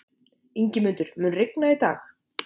Ingimundur, mun rigna í dag?